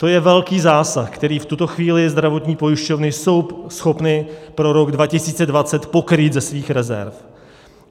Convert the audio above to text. To je velký zásah, který v tuto chvíli zdravotní pojišťovny jsou schopny pro rok 2020 pokrýt ze svých rezerv.